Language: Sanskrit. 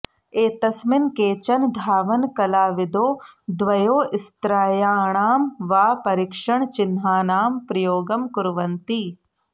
एतस्मिन् केचन धावनकलाविदो द्वयोस्त्रयाणां वा परीक्षणचिह्नानां प्रयोगं कुर्वन्ति